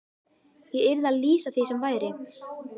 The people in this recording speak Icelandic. Ég yrði að lýsa því sem væri.